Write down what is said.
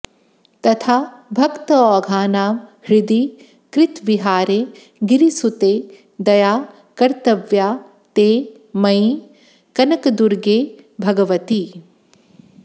तथा भक्तौघानां हृदि कृतविहारे गिरिसुते दया कर्तव्या ते मयि कनकदुर्गे भगवति